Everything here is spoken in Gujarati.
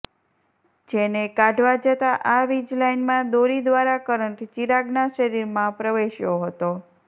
જે ને કાઢવા જતા આ વીજ લાઈનમા દોરી દ્વારા કરંટ ચિરાગના શરીરમા પ્રવેસ્યો હતો